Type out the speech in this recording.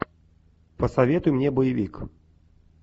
посоветуй мне боевик